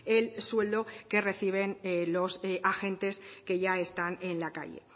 el sueldo que reciben los agentes que ya están en la calle